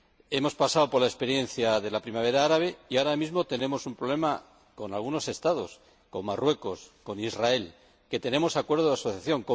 Hemos pasado por la experiencia de la Primavera árabe y ahora mismo tenemos un problema con algunos Estados, como Marruecos o Israel, con los que tenemos un acuerdo de asociación.